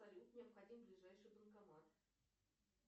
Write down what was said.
салют необходим ближайший банкомат